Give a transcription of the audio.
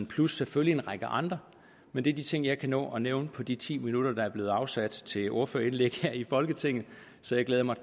plus selvfølgelig en række andre men det er de ting jeg kan nå at nævne på de ti minutter der er blevet afsat til ordførerindlæg her i folketinget så jeg glæder mig